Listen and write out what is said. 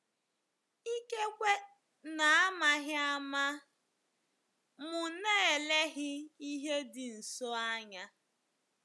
Ikekwe n'amaghị ama, m̀ na-elelị ihe dị nsọ anya?